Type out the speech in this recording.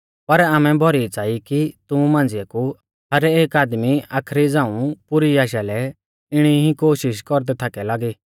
पर आमै भौरी च़ाई कि तुमु मांझ़िऐ कु हर एक आदमी आखरी झ़ांऊ पुरी आशालै इणी ई कोशिष कौरदै थाकौ लागी